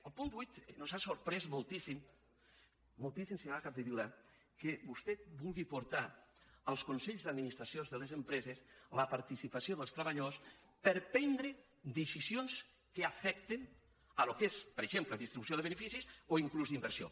al punt vuit ens ha sorprès moltíssim moltíssim senyora capdevila que vostè vulgui portar als consells d’administració de les empreses la participació dels treballadors per prendre decisions que afecten el que és per exemple distribució de beneficis o inclús d’inversió